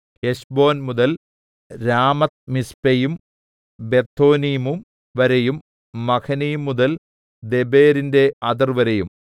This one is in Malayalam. ഹെശ്ബോൻ മുതൽ രാമത്ത്മിസ്പെയും ബെതോനീമും വരെയും മഹനയീം മുതൽ ദെബീരിന്റെ അതിർവരെയും